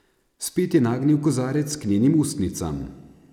Spet je nagnil kozarec k njenim ustnicam.